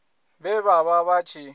vhe vha vha vha tshi